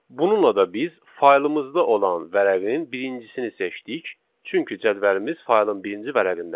Bununla da biz faylımızda olan vərəqin birincisini seçdik, çünki cədvəlimiz faylın birinci vərəqindədir.